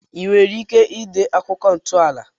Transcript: I nwere ike ide akụkọ ntọala